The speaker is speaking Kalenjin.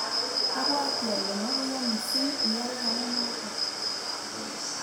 abwoti ale mokuya mising iyay kou noto